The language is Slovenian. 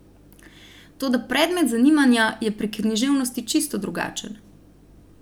Toda predmet zanimanja je pri književnosti čisto drugačen.